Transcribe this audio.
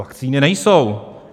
Vakcíny nejsou!